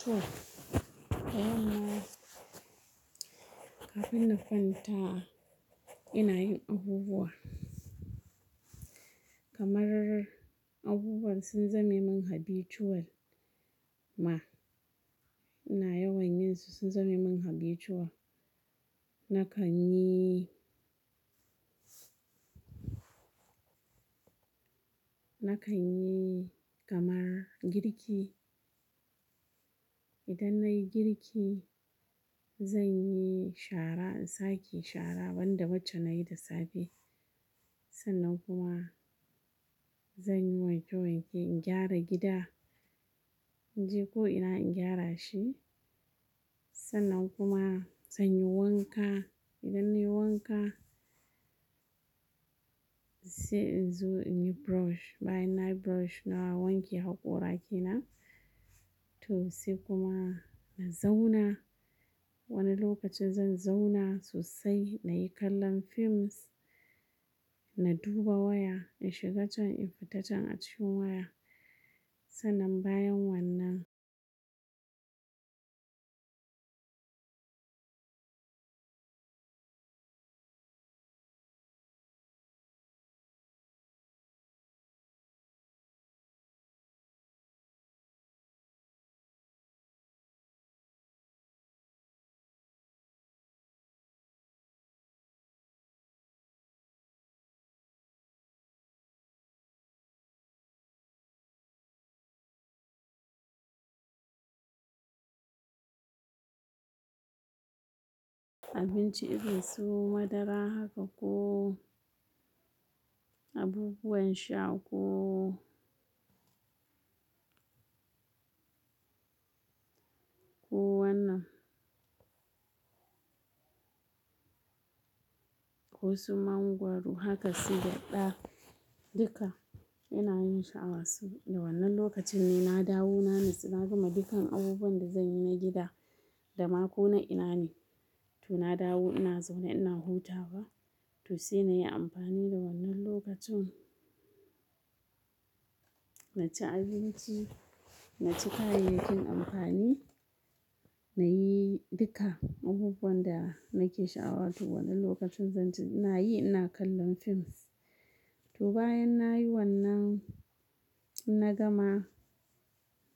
To, da yamma kafin na kwanta ina yin abubuwa kamar abubuwan sun zame min habitual ma, ina yawan yinsu sun zame min habitual. Na kan yi, na kan yi kamar girki. Idan na yi girki zan yi shara, in sake shara, ban da wacce na yi da safe. Sannan kuma zan yi wanke-wanke, in gyara gida. In je ko'ina in gyara shi. Sannan kuma zan yi wanka. Idan nai wanka, sai in zo in yi brush, bayan na yi brush na wanke hakora kenan. To sai kuma na zauna. Wani lokacin zan zauna sosai na yi kallon films, na duba waya, in shiga can in fita can a cikin waya. Sannan bayan wannan abinci irin su, madara haka ko abubuwan sha ko, ko wannan, ko su mangwaro haka su gyaɗa, duka ina yin sha'awas su. Da wannan lokacin ne na dawo, na natsu, na gama dukkan abubuwan da zan yi na gida da ma ko'ina ina ne. To na dawo, ina zaune ina hutawa. To sai na yi amfani da wannan lokacin na ci abinci, na ci kayayyakin amfani, na yi duka abubuwan da nake sha'awa. To wannan lokacin zan ci, ina yi ina kallon films. To bayan na yi wannan, in na gama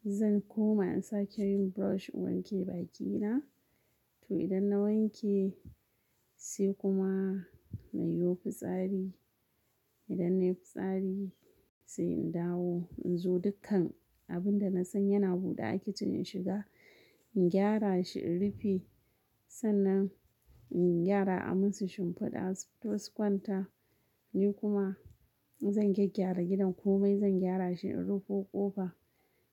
zan koma in sake yin brush in wanke baki na. To idan na wanke sai kuma na yo fitsari. Idan na yi fitsari sai in dawo in zo dukkan abin da nasan yana buɗe a kitchen in shiga in gyara shi, in rufe. Sannan in yara a musu shimfiɗa su futo su kwanta. Ni kuma zan gyaggyara gidan komai zan gyara shi, in rufo ƙofa.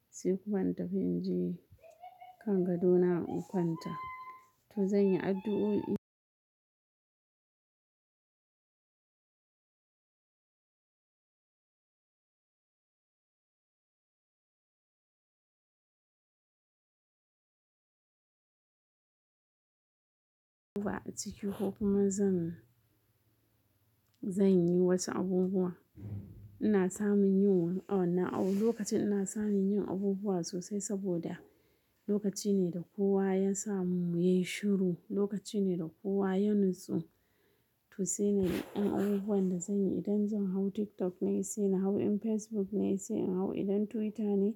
Sai kuma in tafi in je kan gadona in kwanta. To zan yi addu'o'i. A ciki ko kuma zan, zan yi wasu abubuwa. Ina samun yin wa, a wannan lokaci ina samun yin abubuwa sosai saboda lokaci ne da kowa ya samu yai shiru. Lokaci ne da kowa ya nutsu. To sai na yi yan abubuwan da zan yi. Idan zan hau TikTok ne sai na hau, in Facebook ne sai in hau, idan Twitter ne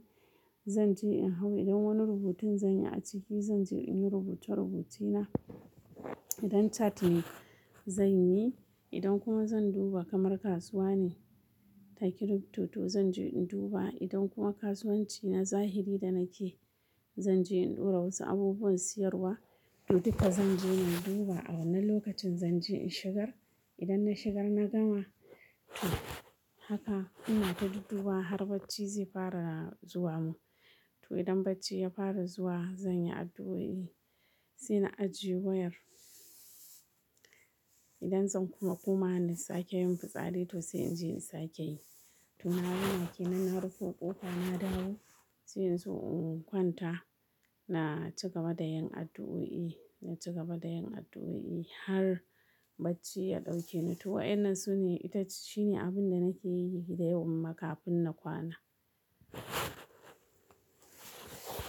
zan je in hau. Idan wani rubutun zan yi a ciki zan je in yi rubuce-rubuce na. Idan chat ne zan yi. Idan kuma zan duba kamar kasuwa ne ta Kiripto to zan je in duba. Idan kuma kasuwanci na zahiri da nake zan je in ɗora wasu abubuwan siyarwa. To duka zan je na duba a wannan lokacin zan je in shigar. Idan na shigar na gama to haka ina ta duddubawa har bacci zai fara zuwa mun. To idan bacci ya fara zuwa zan yi addu'o'i sai na ajiye wayar. Idan zan kuma komawa na sake yin fitsari to sai in je in sake yi. To na gama kenan na rufo ƙofa na dawo sai in zo in kwanta. Na ci gaba da yin addu'o'i, na ci gaba da yin addu'o'i har bacci ya ɗauke ni. To wayannan sune ita shine abun da nake yi da yamma kafin na kwana.